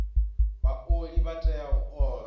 vhaoli vha tea u ola